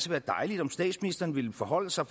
være dejligt om statsministeren ville forholde sig